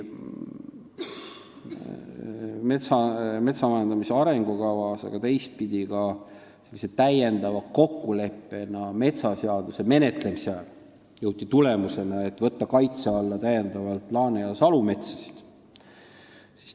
Metsanduse arengukava menetledes, aga ka metsaseaduse menetlemise ajal sõlmitud täiendava kokkuleppe abil jõuti tulemusele, et täiendavalt võetakse kaitse alla laane- ja salumetsasid.